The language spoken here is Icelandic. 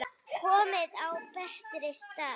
Komin á betri stað.